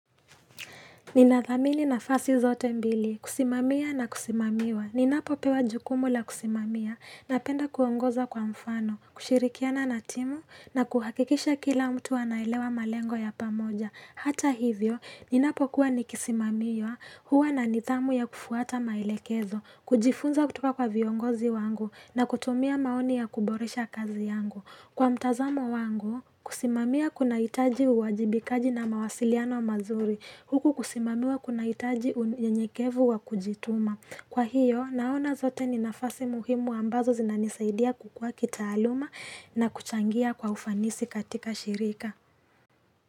Ninathamini na fasi zote mbili, kusimamiya na kusimamiwa. Ninapo pewa jukumu la kusimamiya na penda kuongoza kwa mfano, kushirikiana na timu na kuhakikisha kila mtu anailewa malengo ya pamoja. Hata hivyo, ninapo kuwa nikisimamiwa huwa na nidhamu ya kufuata maelekezo, kujifunza kutoka kwa viongozi wangu na kutumia maoni ya kuboresha kazi yangu. Kwa mtazamo wangu, kusimamia kuna hitaji uwajibikaji na mawasiliano mazuri. Huku kusimamiwa kuna hitaji unyekevu wa kujituma. Kwa hiyo, naona zote ni nafasi muhimu ambazo zinanisaidia kukua kitaaluma na kuchangia kwa ufanisi katika shirika.